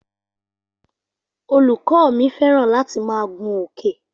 Olùkọ́ mi fẹ́ràn láti máa gun òkè